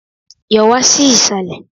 Yọ̀ wá sí Ìsàlẹ̀!